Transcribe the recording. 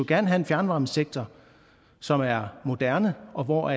gerne have en fjernvarmesektor som er moderne og hvor